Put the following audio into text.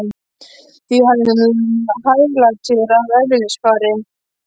Því hann var hæglátur að eðlisfari.